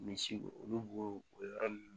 Misi olu b'o o yɔrɔ nunnu